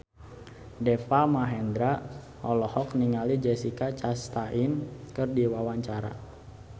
Deva Mahendra olohok ningali Jessica Chastain keur diwawancara